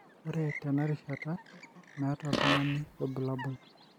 ore tena rishata, meeta oltungani ilbulabul.